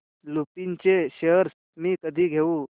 लुपिन चे शेअर्स मी कधी घेऊ